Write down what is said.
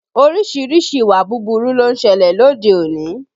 Orísìírísìí ìwà búburú ló ń ṣẹlẹ̀ lóde òní